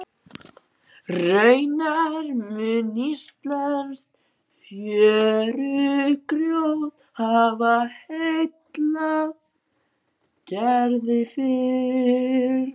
Raunar mun íslenskt fjörugrjót hafa heillað Gerði fyrr.